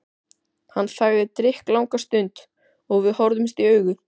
Hann þagði drykklanga stund og við horfðumst í augu.